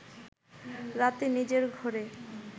রাতে নিজের ঘরে